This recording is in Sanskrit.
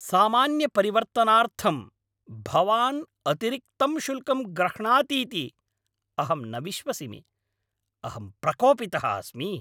सामान्यपरिवर्तनार्थं भवान् अतिरिक्तं शुल्कं ग्रह्णातीति अहं न विश्वसिमि। अहं प्रकोपितः अस्मि।